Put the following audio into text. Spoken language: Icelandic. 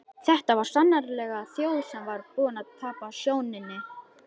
Þetta var sannarlega þjóð sem var búin að tapa sjóninni.